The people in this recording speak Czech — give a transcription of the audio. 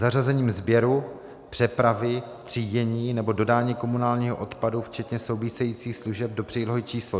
Zařazením sběru, přepravy, třídění nebo dodání komunálního odpadu včetně souvisejících služeb do přílohy číslo